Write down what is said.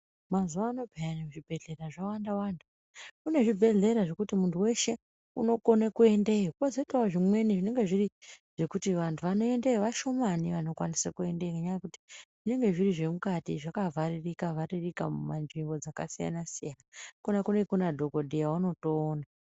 "Mazuwaano peya zvibhedhlera zvawanda-wanda". Kune zvibhedhlera zvekuti muntu weshe unokone kuendeyo, kwozoitawo zvimweni zvinenge zviri zvekuti vantu vanoendeyo vashomani vanokwanise kuendeyo ngenyaya yekuti zvinenge zviri zvemukati zvakavharirika-vharirika munzvimbo dzakasiyana-siyana. Ikona kunenge kuna dhokodheya waunotoona.